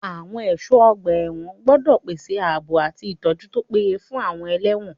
Àwọn ẹ̀ṣọ́ ọgbà ẹ̀wọ̀n gbọ́dọ̀ pèsè ààbò àti ìtọ́jú tó péye fún àwọn ẹlẹ́wọ̀n.